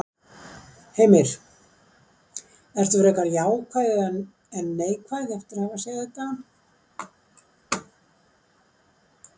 Heimir: Ertu frekar jákvæð en neikvæð eftir að hafa séð þetta?